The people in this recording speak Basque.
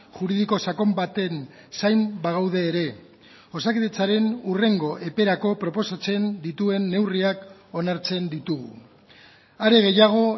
juridiko sakon baten zain bagaude ere osakidetzaren hurrengo eperako proposatzen dituen neurriak onartzen ditugu are gehiago